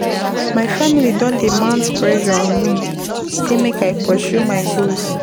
My family don dey mount pressure on me sey make I pursue my goals.